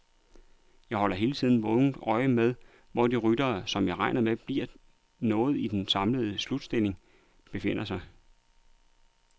Jeg holder hele tiden vågent øje med, hvor de ryttere, som jeg regner med bliver noget i den samlede slutstilling, befinder sig.